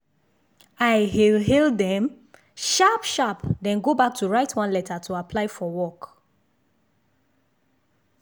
i hail hail dem sharp sharp then go back to write one letter to apply for work.